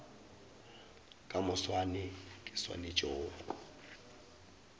ka moswane ke swanetše go